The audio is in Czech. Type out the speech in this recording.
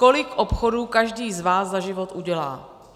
Kolik obchodů každý z vás za život udělá?